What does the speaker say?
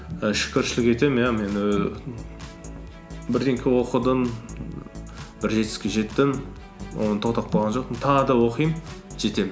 і шүкіршілік етемін иә мен ііі бірдеңе оқыдым бір жетістікке жеттім оны тоқтап қалған жоқпын тағы да оқимын жетемін